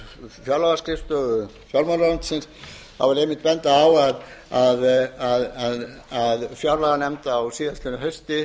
fjárlagaskrifstofu fjármálaráðuneytisins þá vil ég einmitt benda á að fjárlaganefnd samþykkti á síðastliðnu hausti